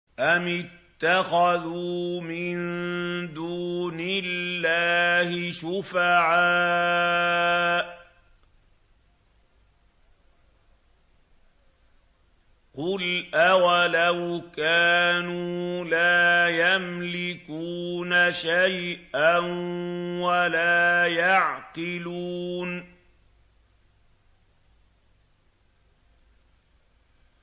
أَمِ اتَّخَذُوا مِن دُونِ اللَّهِ شُفَعَاءَ ۚ قُلْ أَوَلَوْ كَانُوا لَا يَمْلِكُونَ شَيْئًا وَلَا يَعْقِلُونَ